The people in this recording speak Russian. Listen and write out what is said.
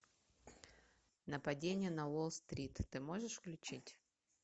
нападение на уолл стрит ты можешь включить